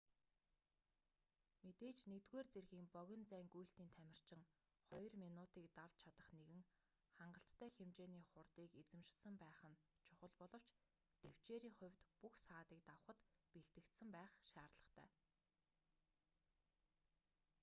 мэдээж нэгдүгээр зэргийн богино зайн гүйлтийн тамирчин хоёр минутыг давч чадах нэгэн хангалттай хэмжээний хурдыг эзэмшсэн байх нь чухал боловч тэвчээрийн хувьд бүх саадыг давахад бэлтгэгдсэн байх шаардлагатай